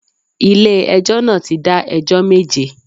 Ilé ẹjọ́ náà ti dá ẹjọ́ méje